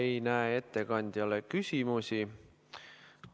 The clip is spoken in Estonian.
Ei näe ettekandjale küsimusi.